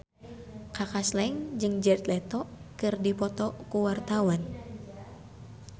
Kaka Slank jeung Jared Leto keur dipoto ku wartawan